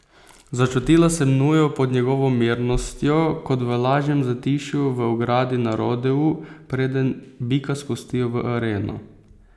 Začutila sem nujo pod njegovo mirnostjo, kot v lažnem zatišju v ogradi na rodeu, preden bika spustijo v areno.